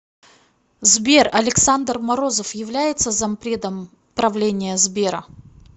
сбер александр морозов является зампредом правления сбера